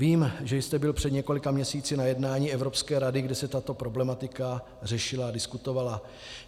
Vím, že jste byl před několika měsíci na jednání Evropské rady, kde se tato problematika řešila a diskutovala.